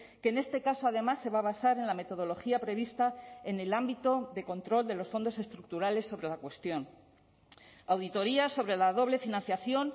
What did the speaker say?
que en este caso además se va a basar en la metodología prevista en el ámbito de control de los fondos estructurales sobre la cuestión auditoría sobre la doble financiación